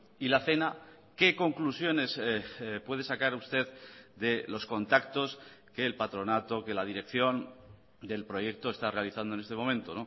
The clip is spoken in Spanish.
y la cena qué conclusiones puede sacar usted de los contactos que el patronato que la dirección del proyecto está realizando en este momento